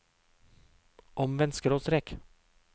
omvendt skråstrek